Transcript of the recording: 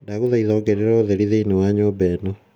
ndaguthaitha ongerera utheri thiini wa nyumba ano